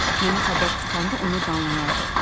Nənə xəbər tutanda onu danlayardı.